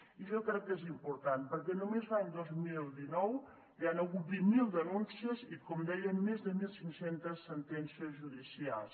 i jo crec que és important perquè només l’any dos mil dinou hi han hagut vint mil denúncies i com deien més de mil cinc cents sentències judicials